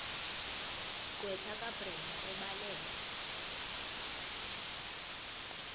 gqwetha kabrenda ebhalela